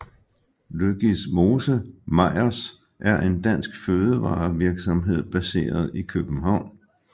Løgismose Meyers er en dansk fødevarevirksomhed baseret i København